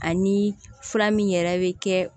Ani fura min yɛrɛ bɛ kɛ